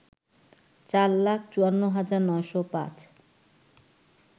চার লাখ ৫৪ হাজার ৯০৫